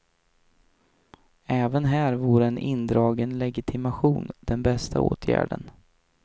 Även här vore en indragen legitimation den bästa åtgärden.